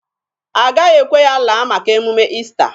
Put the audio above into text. A gaghị ekwe ya laa maka emume Ista.